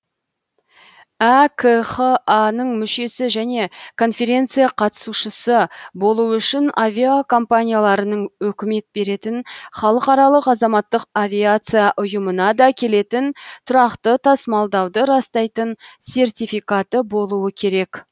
әкха ның мүшесі және конференция қатысушысы болуы үшін авиакомпанияларының өкімет беретін халықаралық азаматтық авиация ұйымына да келетін тұрақты тасымалдауды растайтын сертификаты болуы керек